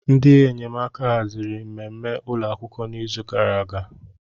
Ndị enyemaka haziri mmemme ụlọ akwụkwọ n'izu gara aga.